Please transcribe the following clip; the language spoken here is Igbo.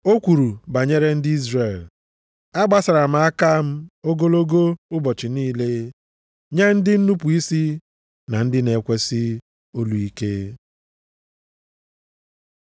O kwuru banyere ndị Izrel, “Agbasara m aka m ogologo ụbọchị niile nye ndị nnupu isi na ndị na-ekwesị olu ike.” + 10:21 \+xt Aịz 65:2\+xt*